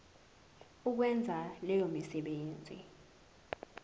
ukwenza leyo misebenzi